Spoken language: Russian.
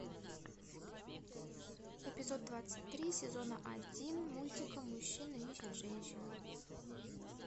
эпизод двадцать три сезона один мультика мужчина ищет женщину